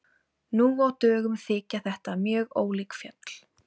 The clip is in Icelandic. Nú á dögum þykja þetta mjög ólík fjöll.